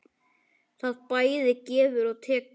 Það bæði gefur og tekur.